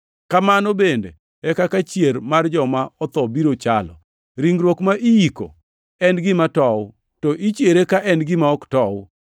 Kamano bende e kaka chier mar joma otho biro chalo. Ringruok ma iyiko en gima tow, to ichiere ka en gima ok tow.